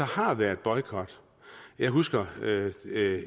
har været boykot jeg husker